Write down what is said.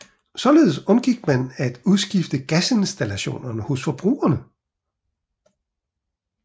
Således undgik man at udskifte gasinstallationer hos forbrugerne